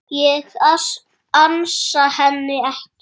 Ég ansa henni ekki.